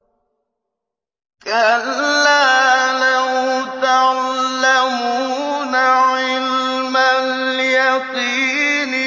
كَلَّا لَوْ تَعْلَمُونَ عِلْمَ الْيَقِينِ